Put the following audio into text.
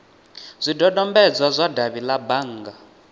zwidodombedzwa zwa davhi la bannga